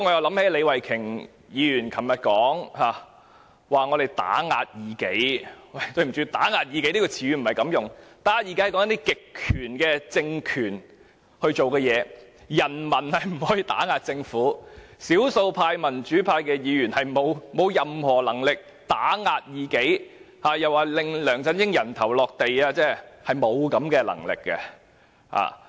對不起，"打壓異己"這個詞語不是這樣用的，這詞語用來形容一些極權的政權所做的事，人民不可以打壓異己，少數民主派議員沒有任何能力打壓異己，又說我們要令梁振英"人頭落地"，我們根本沒有這種能力。